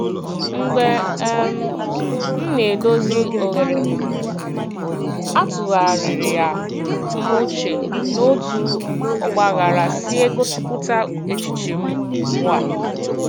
Mgbe um m na-edozi oghere m, atụgharịra m uche n'otú ọgbaghara si egosipụta echiche m ugbu a.